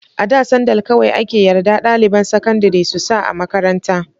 A da sandal kawai ake yarda ɗaliban sakandari su sa a makaranta.